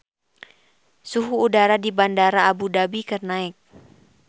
Suhu udara di Bandara Abu Dhabi keur naek